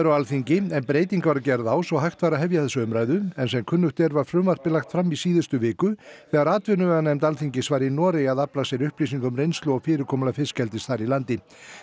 á Alþingi en breyting var gerð svo hægt væri að hefja þessa umræðu en sem kunnugt er var frumvarpið lagt fram í síðustu viku þegar atvinnuveganefnd Alþingis var í Noregi að afla sér upplýsinga um reynslu og fyrirkomulag fiskeldis þar í landi